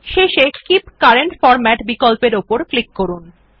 শেষে keep current format বিকল্পের উপর ক্লিক করুন